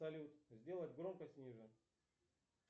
салют сделать громкость ниже